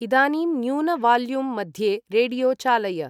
इदानीं न्यून वाल्यूम् मध्ये रेडियॊ चालय